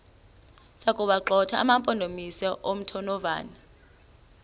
sokuwagxotha amampondomise omthonvama